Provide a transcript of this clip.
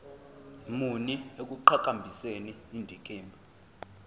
muni ekuqhakambiseni indikimba